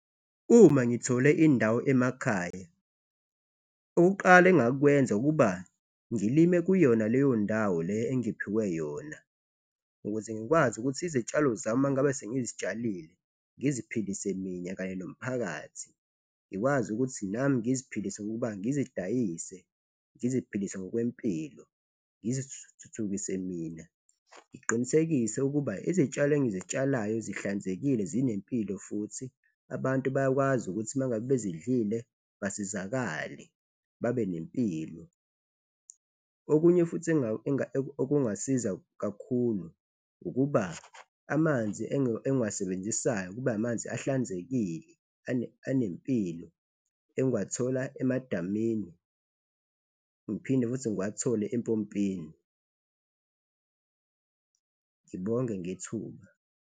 Uma ngithole indawo emakhaya, okokuqala engingakwenza ukuba ngilime kuyona leyo ndawo le engiphiwe yona ukuze ngikwazi ukuthi izitshalo zami mangabe sengizitshalile, ngiziphilise mina kanye nomphakathi. Ngikwazi ukuthi nami ngiziphilise ngokuba ngizidayise, ngiziphilise ngokwempilo ngizithuthukise mina, ngiqinisekise ukuba izitshalo engizitshalayo zihlanzekile, zinempilo futhi abantu bayakwazi ukuthi mangabe bezidlile, basizakale babe nempilo. Okunye futhi okungasiza kakhulu ukuba amanzi engiwasebenzisayo kube amanzi ahlanzekile, anempilo engiwathola emadamini ngiphinde futhi ngiwathole empompini, ngibonge ngethuba.